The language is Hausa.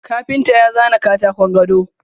Kafinta ya zana katakon gado.